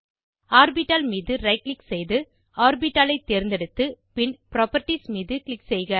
orbital மீது right click செய்து orbital ஐ தேர்ந்தெடுத்து பின் புராப்பர்ட்டீஸ் மீது க்ளிக் செய்க